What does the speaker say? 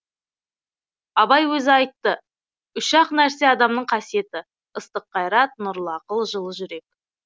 абай өзі айтты үш ақ нәрсе адамның қасиеті ыстық қайрат нұрлы ақыл жыл жүрек